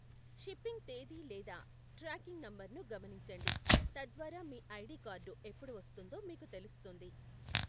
Shipping తేదీ లేదా tracking నంబర్ను గమనించండి, తద్వారా మీ ఐడి కార్డు ఎప్పుడు వస్తుందో మీకు తెలుస్తుంది.